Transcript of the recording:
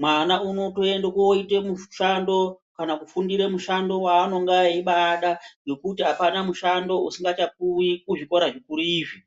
Mwana unotoende kooite mushando kana kufundire mushando waanonga eibaada. Ngekuti hakuna mushando usingachapuwi kuzvikora zvikuru izvi.